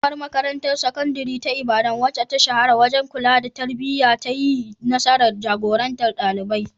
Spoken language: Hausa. Karamar Makarantar Sakandare ta Ibadan, wacce ta shahara wajen kula da tarbiyya, ta yi nasarar jagorantar ɗalibai.